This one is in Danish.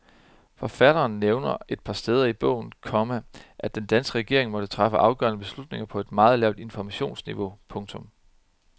Forfatteren nævner et par steder i bogen, komma at den danske regering måtte træffe afgørende beslutninger på et meget lavt informationsniveau. punktum